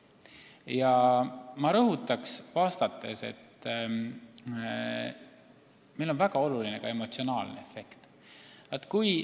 Ja ma rõhutan oma vastuses, et meile on väga oluline ka emotsionaalne efekt.